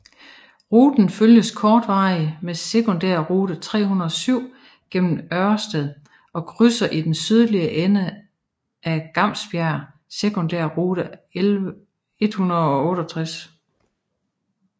Ruten følges kortvarigt med sekundærrute 307 gennem Ørsted og krydser i den sydlige ende af Glamsbjerg sekundærrute 168